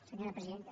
senyora presidenta